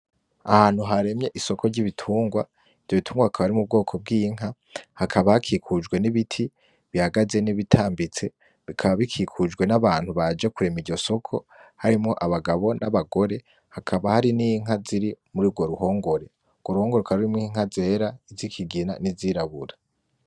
Ahantu haremye Isoko ry'ibitungwa ivyo bitungwa akaba ari mu bwoko bw'inka ,hakaba hakikujwe n'ibiti bihagaze n'ibitambitse, bikaba bikikujwe n'Abagabo n'abagore hakaba har'inka ziri muruwo ruhongore hakaba harimwo Inka zera zikigina n'izirabura.